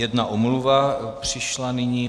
Jedna omluva přišla nyní.